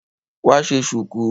Wá ṣe ṣùkú.